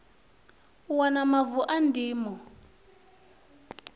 u wana mavu a ndimo